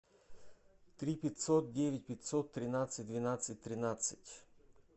три пятьсот девять пятьсот тринадцать двенадцать тринадцать